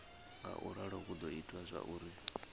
ngauralo hu do ita zwauri